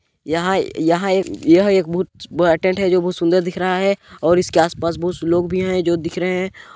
यहाँ-यहाँ एक-यह एक बहुत बड़ा टेंट है जो बहुत सुंदर दिख रहा है और इसके आस-पास बहुत से लोग भी है जो दिख रहे है।